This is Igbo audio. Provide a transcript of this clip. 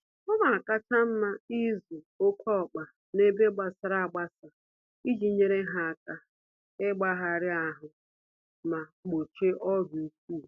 Ọnakacha mma ịzụ oké ọkpa n'ebe gbasara agbasa iji nyèrè ha áká igbagara-ahụ ma gbochie ọrịa ụkwụ